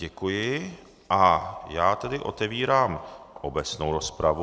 Děkuji a já tedy otevírám obecnou rozpravu.